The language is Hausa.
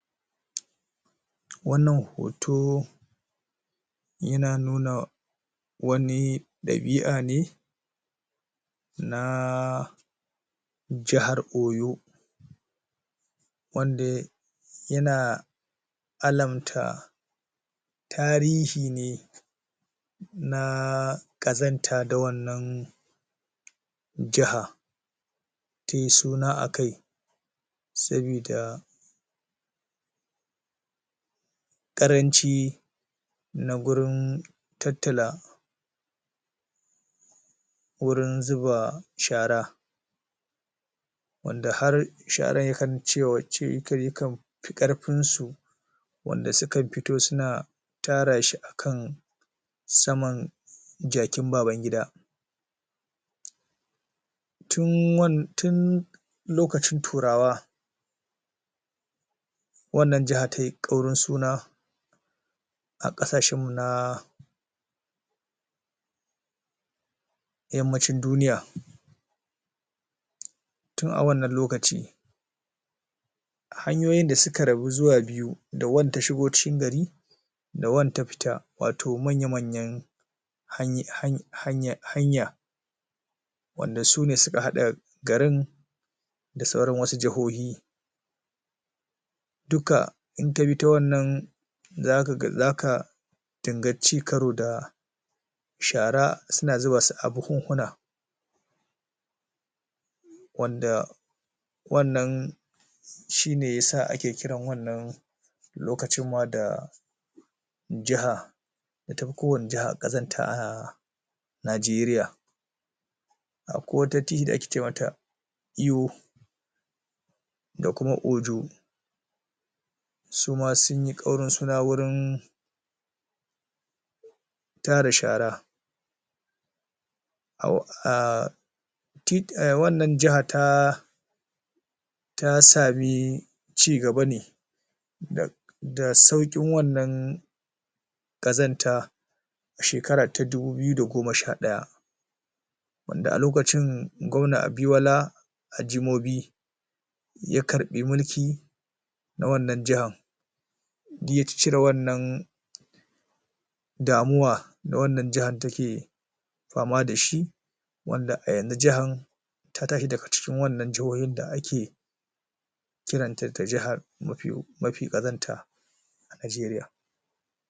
Wannan hoto yana nuna wani dabi'a ne na jahar oyo, wanda yana alamta tarihi ne na kazanta da wannan jahar tai suna akai, sabida karanci na gurin tattala wurin zuba shara wanda har sharar ya kan cewace kan karfin su, wanda su kan fito suna tara shi akan saman jakin baban gida, tun lokacin turawa wannan jaha tayi kaurin suna a kasashen na yammacin duniya, tun a wannan lokaci hanyoyin da suka rabu biyu da wanda ta shigo cikin gari da wanda ta fita wato manya manyan hanya wanda sune suka hada garin da sauran wasu jahohi, duka in ka bi ta wannan zaka ga zaka dinga cin karo da shara suna zuba su a buhunhuna wadda wannan shine yasa ake kiran lokacin da jiha wanda tafi kowacce jiha kazanta a Nigeria, akwai wata jiha wadda ake ce mata yiwu da kuma ojo, su ma sunyi kaurin suna wajen tara shara, a wannan jaha ta sami cigaba ne da saukin wannan kazanta a shekara ta dubu daya da goma sha daya, gwamna ajimobi ya karbi mulki a wannan jahar dik ya cire wannan damuwa da wannan jahar take fama dashi wanda a yanzu jihar ta tashi daga cikin jihohin da ake kira da mafi kazanta a Nigeria.